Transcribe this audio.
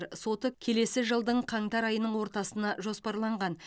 соты келесі жылдың қаңтар айының ортасына жоспарланған